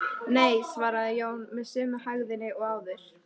Nei, svaraði Jón með sömu hægðinni og áður.